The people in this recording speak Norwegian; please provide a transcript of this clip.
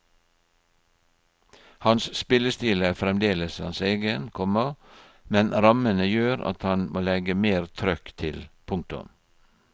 Hans spillestil er fremdeles hans egen, komma men rammene gjør at han må legge mer trøkk til. punktum